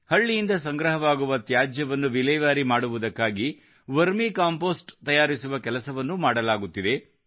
ಹಳ್ಳಿಯಿಂದ ಸಂಗ್ರಹವಾಗುವ ತ್ಯಾಜ್ಯವನ್ನು ವಿಲೇವಾರಿ ಮಾಡುವುದಕ್ಕಾಗಿ ವರ್ಮಿ ಕಂಪೋಸ್ಟ್ ತಯಾರಿಸುವ ಕೆಲಸವನ್ನೂ ಮಾಡಲಾಗುತ್ತಿದೆ